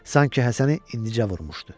Sanki Həsəni indicə vurmuşdu.